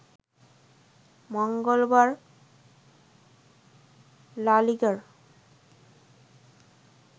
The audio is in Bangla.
মঙ্গলবার লা লিগার